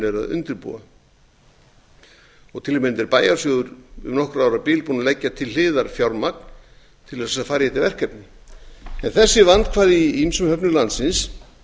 eru að undirbúa til að mynda er bæjarsjóður um nokkurra ára bil búinn að leggja til hliðar fjármagn til að fara í þetta verkefni þessi vandkvæði í ýmsum höfnum landsins